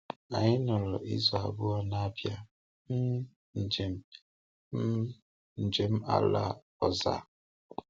Anyị nọrọ izu abụọ na Abịa um njem um njem ala ọ̀zà.